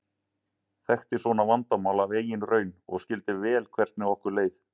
Þekkti svona vandamál af eigin raun og skildi vel hvernig okkur leið.